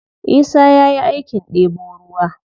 Isa ya yi aikin ɗebo ruwa.